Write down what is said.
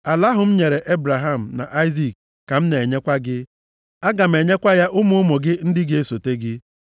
Ala ahụ m nyere Ebraham na Aịzik ka m na-enyekwa gị. Aga m enyekwa ya ụmụ ụmụ gị ndị ga-esote gị.”